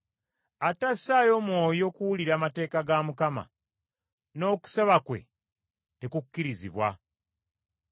Atassaayo mwoyo kuwulira mateeka ga Mukama , n’okusaba kwe tekukkirizibwa.